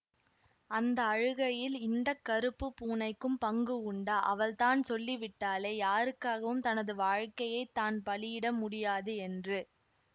அந்த அழுகையில் இந்த கறுப்பு பூனைக்கும் பங்கு உண்டா அவள்தான் சொல்லிவிட்டாளே யாருக்காகவும் தனது வாழ்க்கையை தான் பலியிட முடியாது என்று